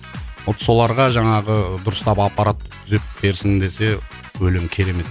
вот соларға жаңағы дұрыстап аппарат түзеп берсін десе өлең керемет